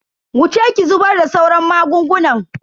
Wuce ki zubar da sauran magungunan.